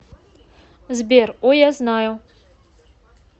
сбер о я знаю